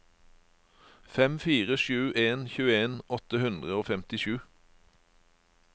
fem fire sju en tjueen åtte hundre og femtisju